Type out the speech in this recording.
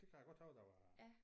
Det kan jeg godt huske der var